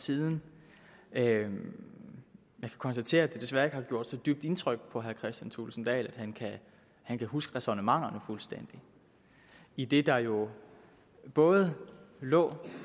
siden men jeg kan konstatere at det desværre ikke har gjort så dybt et indtryk på herre kristian thulesen dahl at han kan huske ræsonnementerne fuldstændig idet der jo i både lå